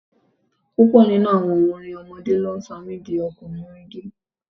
Púpọ̀ nínú àwọn orin ọmọdé mi ló sọ mi di ọkùnrin ìdí.